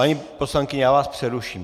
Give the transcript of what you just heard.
Paní poslankyně, já vás přeruším.